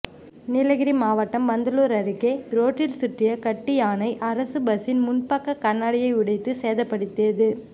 நீலகிரி மாவட்டம் பந்தலூர் அருகே ரோட்டில் சுற்றிய கட்டு யானை அரசு பஸ்சின் முன்பக்க கண்ணாடியை உடைத்து சேதப்படுத்தியது